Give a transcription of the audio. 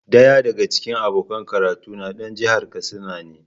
Daya daga cikin abokan karatuna dan jihar Katsina ne.